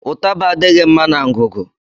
Ụtábà adịghị mma na ngụgụ